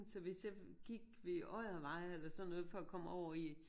Så hvis jeg gik ved Oddervej eller sådan noget for at komme over i